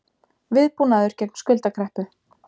Viðbúnaður gegn skuldakreppu